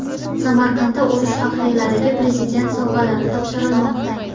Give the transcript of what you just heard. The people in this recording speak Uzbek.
Samarqandda urush faxriylariga Prezident sovg‘alari topshirilmoqda.